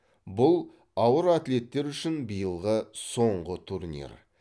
бұл ауыр атлеттер үшін биылғы соңғы турнир